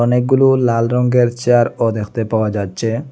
অনেকগুলো লাল রঙ্গের চেয়ারও দেখতে পাওয়া যাচ্চে ।